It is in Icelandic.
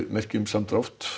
merki um samdrátt